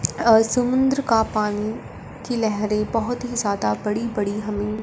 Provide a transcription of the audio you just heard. अ समुद्र का पानी की लहरें बहुत ही ज्यादा बड़ी बड़ी हमें--